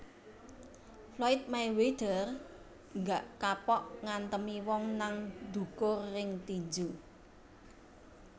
Floyd Mayweather gak kapok ngantemi wong nang dhukur ring tinju